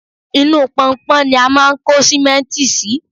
inú pọnpọn ni a máà ń kó sìmẹ́ntì sí